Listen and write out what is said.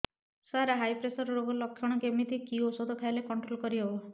ସାର high pressure ରୋଗର ଲଖଣ କେମିତି କି ଓଷଧ ଖାଇଲେ କଂଟ୍ରୋଲ କରିହେବ